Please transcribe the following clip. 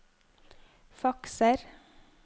fakser